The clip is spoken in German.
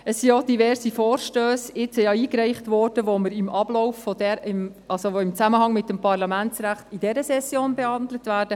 Es wurden denn auch diverse Vorstösse eingereicht, welche in Zusammenhang mit dem Parlamentsrecht während dieser Session und auch in Zukunft behandelt werden.